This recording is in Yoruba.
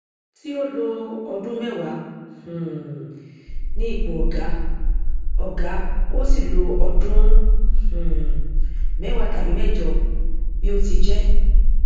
tí ó lọ ọdún mẹwàá um ní ipò ọgá ọgá ó sì lọ ọdún um mẹwàá tàbí mẹjọ bí ó ti jẹ